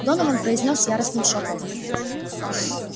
донован произнёс яростным шёпотом